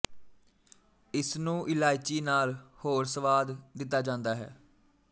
ਇਸਨੂੰ ਇਲਾਇਚੀ ਨਾਲ ਹੋਰ ਸਵਾਦ ਦਿੱਤਾ ਜਾਂਦਾ ਹੈ